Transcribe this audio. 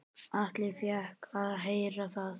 Atli fékk að heyra það.